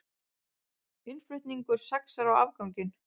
Innflutningur saxar á afganginn